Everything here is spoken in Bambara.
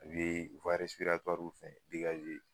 A bɛ fɛ